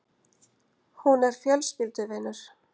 Hún er fjölskylduvinur.